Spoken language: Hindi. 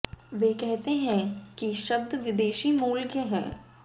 वे कहते हैं कि शब्द विदेशी मूल के हैं